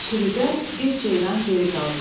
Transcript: Sürüdən bir ceyran geri qaldı.